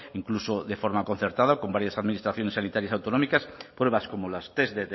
incluso de forma concertada con varias administraciones sanitarias autonómicas pruebas como las test